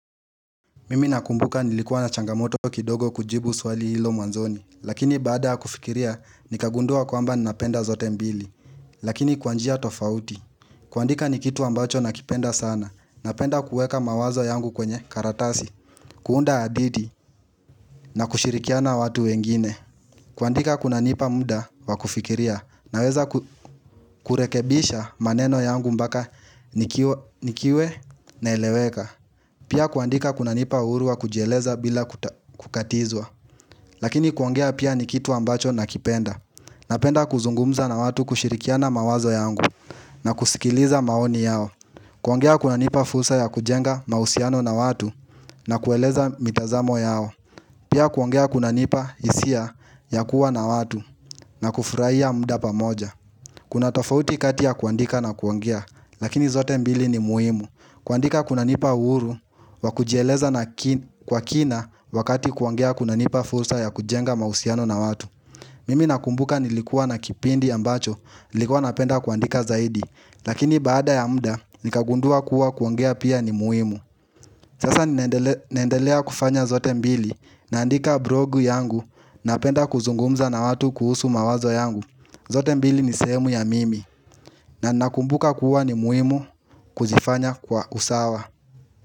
Mimi nakumbuka nilikuwa na changamoto kidogo kujibu swali hilo mwanzoni Lakini baada ya kufikiria nikagundua kwamba nnapenda zote mbili Lakini kwa njia tofauti kuandika ni kitu ambacho nakipenda sana Napenda kueka mawazo yangu kwenye karatasi kuunda hadithi na kushirikiana watu wengine kuandika kunanipa muda wa kufikiria Naweza kurekebisha maneno yangu mbaka nikiwe naeleweka Pia kuandika kunanipa uhuru wa kujieleza bila kukatizwa Lakini kuongea pia ni kitu ambacho nakipenda Napenda kuzungumza na watu kushirikiana mawazo yangu na kusikiliza maoni yao kuongea kunanipa fursa ya kujenga mahusiano na watu na kueleza mitazamo yao Pia kuongea kunanipa hisia ya kuwa na watu na kufraia mda pamoja Kuna tofauti kati ya kuandika na kuongea Lakini zote mbili ni muhimu kuandika kunanipa uhuru, wa kujieleza kwa kina wakati kuongea kunanipa fursa ya kujenga mahusiano na watu Mimi nakumbuka nilikuwa na kipindi ambacho, nilikuwa napenda kuandika zaidi Lakini baada ya mda, nikagundua kuwa kuongea pia ni muhimu Sasa naendelea kufanya zote mbili, naandika brogu yangu, napenda kuzungumza na watu kuhusu mawazo yangu zote mbili ni sehemu ya mimi, na nakumbuka kuwa ni muhimu kuzifanya kwa usawa.